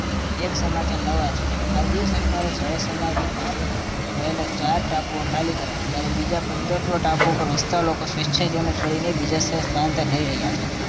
એક સમાચાર નવા છે માલદીવ સરકારે જળ સમાધિ પામી રહેલા ચાર ટાપુઓ ખાલી કરાવ્યા જયારે બીજા પંદરસો ટાપુઓ પર વસતા લોકો સ્વેછાએ તેમને છોડીને બીજા સ્થળે સ્થળાંતર કરી રહ્યા છે